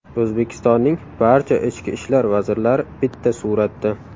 O‘zbekistonning barcha ichki ishlar vazirlari bitta suratda.